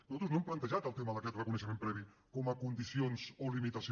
nosaltres no hem plantejat el tema d’aquest reconeixement previ com a condició o limitació